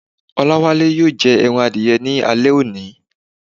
O̩láwále yóò je̩ e̩ran adiye̩ ní alé̩ òní.